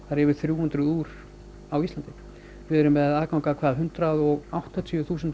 eru yfir þrjú hundruð úr á Íslandi við erum með aðgang að hundrað og áttatíu þúsund